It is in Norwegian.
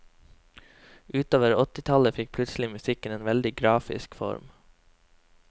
Utover åttitallet fikk plutselig musikken en veldig grafisk form.